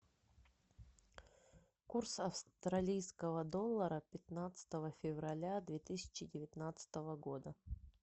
курс австралийского доллара пятнадцатого февраля две тысячи девятнадцатого года